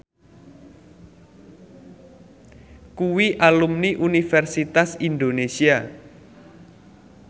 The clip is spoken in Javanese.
kuwi alumni Universitas Indonesia